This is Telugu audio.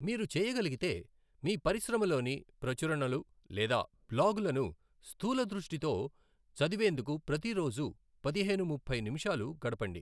మీరు చేయగలిగితే, మీ పరిశ్రమలోని ప్రచురణలు లేదా బ్లాగులను స్థూలదృష్టితో చదివేందుకు ప్రతిరోజూ పదిహేను ముప్పై నిమిషాలు గడపండి.